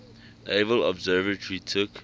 naval observatory took